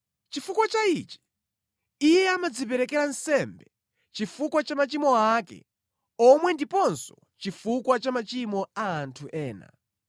Chifukwa cha ichi, iye amadziperekera nsembe chifukwa cha machimo ake omwe ndiponso chifukwa cha machimo a anthu ena.